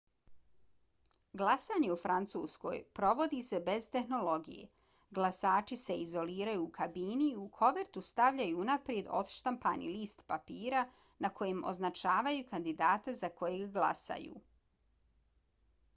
glasanje u francuskoj provodi se bez tehnologije. glasači se izoliraju u kabini i u kovertu stavljaju unaprijed odštampani list papira na kojem označavaju kandidata za kojeg glasaju